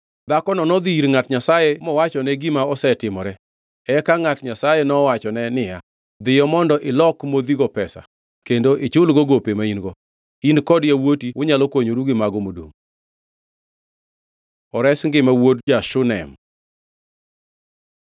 Dhakono nodhi ir ngʼat Nyasaye mowachone gima osetimore. Eka ngʼat Nyasaye nowachone niya, “Dhiyo mondo ilok modhigo pesa kendo ichulgo gope ma in-go. In kod yawuoti unyalo konyoru gi mago modongʼ.” Ores ngima wuod ja-Shunem